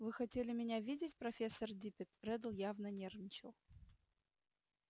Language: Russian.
вы хотели меня видеть профессор диппет реддл явно нервничал